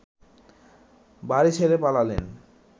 বাড়ি ছেড়ে পালালেন